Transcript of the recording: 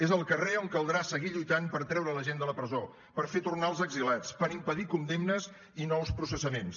és al carrer on caldrà seguir lluitant per treure la gent de la presó per fer tornar els exiliats per impedir condemnes i nous processaments